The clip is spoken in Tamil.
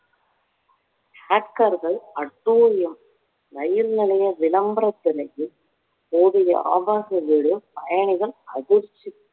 hacker கள் அட்டூழியம் ரயில் நிலைய விளம்பர திரையில் ஓடிய ஆபாச video பயணிகள் அதிர்ச்சி